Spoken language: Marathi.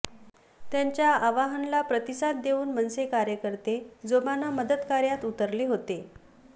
त्यांच्या आवाहनला प्रतिसाद देऊन मनसे कार्यकर्ते जोमानं मदतकार्यात उतरले होते